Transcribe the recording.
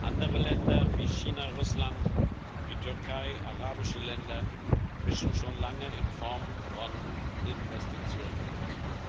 Andere Länder wie China, Russland, die Türkei und arabische Länder mischen schon lange in Form von Investitionen mit.